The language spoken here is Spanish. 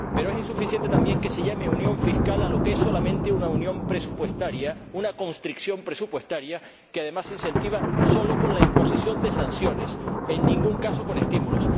Pero es insuficiente también que se llame unión fiscal a lo que es solamente una unión presupuestaria, una constricción presupuestaria que, además, se incentiva solo con la imposición de sanciones, en ningún caso con estímulos.